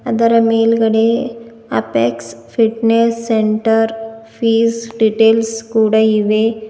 ಅದರ ಮೇಲ್ಗಡೆ apex fitness centre fees details ಕೂಡ ಇವೆ.